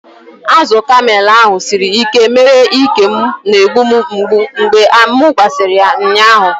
Azụ kamel ahụ siri ike mere ike m na-egbu m mgbu mgbe m gbasịrị ya ụnyaahụ.